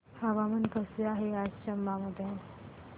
हवामान कसे आहे चंबा मध्ये